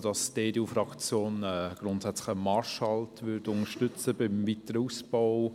Die EDU-Fraktion würde einen Marschhalt beim weiteren Ausbau